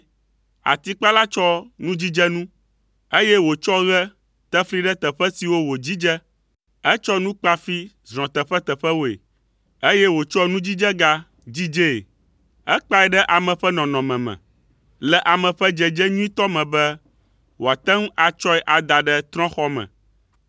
Atikpala tsɔ nudzidzenu, eye wòtsɔ ɣe te fli ɖe teƒe siwo wòdzidze. Etsɔ nukpafi zrɔ̃ teƒeteƒewoe, eye wòtsɔ nudzidzega dzidzee. Ekpae ɖe ame ƒe nɔnɔme me, le ame ƒe dzedze nyuitɔ me be wòate ŋu atsɔe ada ɖe trɔ̃xɔ me.